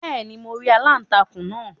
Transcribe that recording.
beeni, mo ri aláùntakun naa